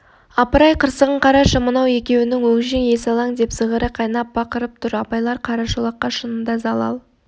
апырай қырсығын қарашы мынау екеуінің өңшең есалаң деп зығыры қайнап бақырып тұр абайлар қарашолаққа шынында залал